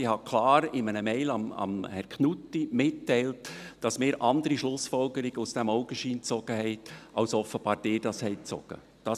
Ich habe klar in einer Mail an Herrn Knutti mitgeteilt, dass wir andere Schlussfolgerungen aus diesem Augenschein gezogen haben, als offenbar ihr gezogen habt.